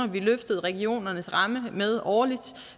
vi løftede regionernes ramme med årligt